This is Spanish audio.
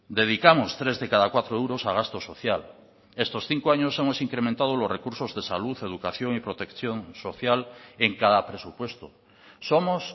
dedicamos tres de cada cuatro euros a gastos social estos cinco años hemos incrementado los recursos de salud educación y protección social en cada presupuesto somos